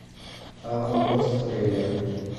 аванпост трейлер